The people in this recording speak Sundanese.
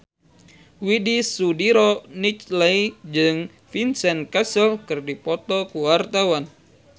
Widy Soediro Nichlany jeung Vincent Cassel keur dipoto ku wartawan